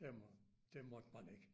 Det må det måtte man ikke